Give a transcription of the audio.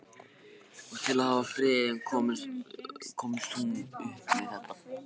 Og til að halda friðinn komst hún upp með þetta.